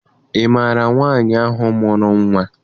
Ị maara nwaanyị ahụ mụrụ nnwa?